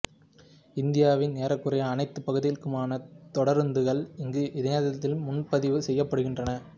இந்தியாவின் ஏறக்குறைய அனைத்து பகுதிகளுக்குமான தொடருந்துகள் இங்கு இணையத்தில் முன்பதிவு செய்யப்படுகின்றன